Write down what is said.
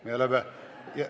Me oleme ...